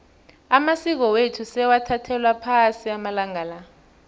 amasiko wethu sewathathelwa phasi amalanga la